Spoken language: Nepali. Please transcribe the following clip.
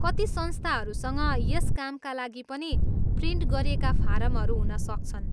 कति संस्थाहरूसँग यस कामका लागि पनि प्रिन्ट गरिएका फारमहरू हुन सक्छन्।